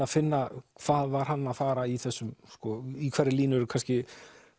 að finna hvað var hann að fara í þessu í hverri línu eru kannski